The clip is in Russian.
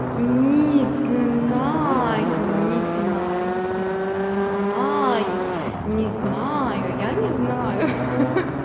не знаю не знаю не знаю не знаю не знаю я не знаю ха-ха